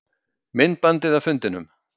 Myndbandið af fundinum